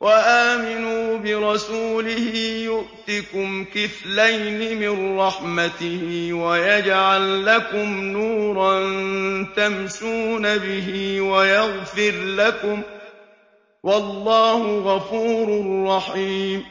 وَآمِنُوا بِرَسُولِهِ يُؤْتِكُمْ كِفْلَيْنِ مِن رَّحْمَتِهِ وَيَجْعَل لَّكُمْ نُورًا تَمْشُونَ بِهِ وَيَغْفِرْ لَكُمْ ۚ وَاللَّهُ غَفُورٌ رَّحِيمٌ